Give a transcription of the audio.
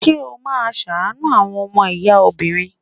Ṣé́ ó máa ṣàánú àwọn ọmọ ìyá obìnrin?